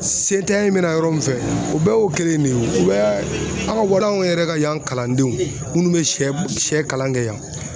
Se tanya in bena yɔrɔ min fɛ o bɛɛ y'o kelen ne ye o u b'a aw waraw yɛrɛ ka yan kalandenw munnu be sɛ sɛ kalan kɛ yan